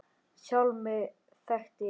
Sjálfa mig þekkti ég ekkert.